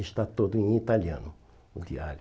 Está todo em italiano, o diário.